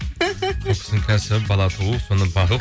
бұл кісінің кәсібі бала туу соны бағу